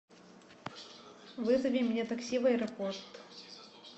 вызови мне такси в аэропорт